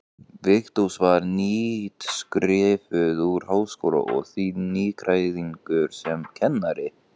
Vigdís var nýútskrifuð úr Háskólanum og því nýgræðingur sem kennari.